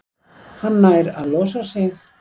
Hann nær að losa sig.